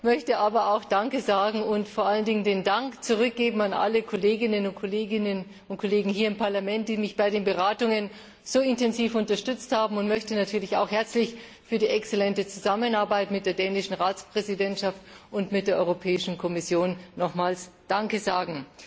Ich möchte aber auch danke sagen und vor allen Dingen den Dank zurückgeben an alle Kolleginnen und Kollegen hier im Parlament, die mich bei den Beratungen so intensiv unterstützt haben, und möchte natürlich auch für die exzellente Zusammenarbeit mit der dänischen Ratspräsidentschaft und mit der Kommission nochmals herzlich danke sagen.